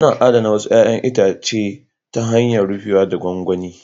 Ana adana wasu 'ya'yan itatuwa ta hanyar rufewa a gwangwani